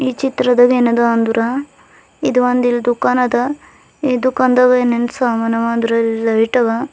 ಈ ಚಿತ್ರದಾಗ ಏನದು ಅಂದ್ರ ಇದು ಒಂದ್ ಇಲ್ ದುಖಾನ ಅದ ಈ ದುಖಾನದಾಗ ಏನ್ ಏನ್ ಸಮಾನ ಅವ ಅಂದ್ರ ಲೈಟ್ ಅವ.